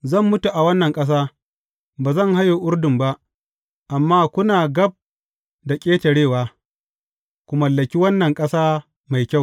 Zan mutu a wannan ƙasa; ba zan haye Urdun ba; amma kuna gab da ƙetarewa, ku mallaki wannan ƙasa mai kyau.